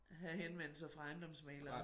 Have henvendelser fra ejendomsmæglere